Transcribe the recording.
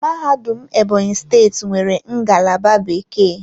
Mahadum Ebonyi steeti nwere ngalaba bekee.